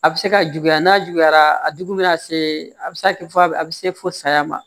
A bɛ se ka juguya n'a juguyara a jugu bɛ na se a bɛ se ka kɛ fɔ a bɛ a bɛ se fo saya ma